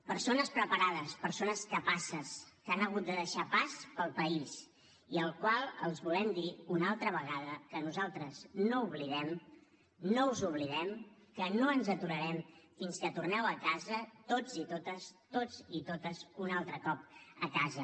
persones preparades persones capaces que han hagut de deixar pas pel país i als quals els volem dir una altra vegada que nosaltres no oblidem no us oblidem que no ens aturarem fins que torneu a casa tots i totes tots i totes un altre cop a casa